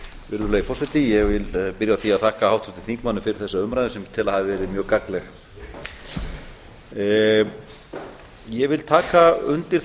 virðulegi forseti ég vil byrja á því að þakka háttvirtum þingmönnumfyrir þessa umræðu sem ég tel að hafi verið mjög gagnleg ég vil taka undir það